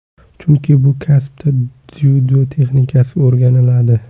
Chunki, bu kasbda dzyudo texnikasi o‘rganiladi.